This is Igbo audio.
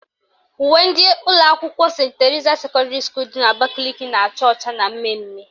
Uwe ndị ụlọakwụkwọ Senti Terisa sekọndịrị dị n'Abakaliki na-acha ọcha na mmemme